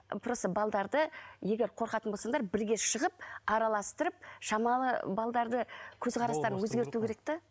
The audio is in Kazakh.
просто егер қорқатын болсаңдар бірге шығып араластырып шамалы көзқарастарын өзгерту керек те